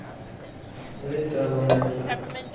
এইতো আলহামদুলিল্লাহ